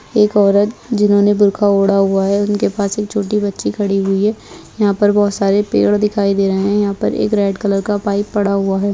एक औरत जिन्होंने बुरखा ओढ़ा हुआ है उनके पास एक छोटी बच्ची खड़ी हुई है | यहां पर बहुत सारे पेड़ दिखाई दे रहे हैं | यहाँ पर एक रेड कलर का पाइप पड़ा हुआ है|